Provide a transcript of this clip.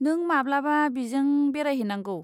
नों माब्लाबा बिजों बेरायहैनांगौ।